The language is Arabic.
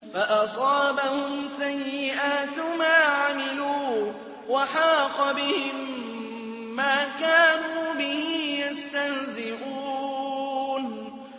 فَأَصَابَهُمْ سَيِّئَاتُ مَا عَمِلُوا وَحَاقَ بِهِم مَّا كَانُوا بِهِ يَسْتَهْزِئُونَ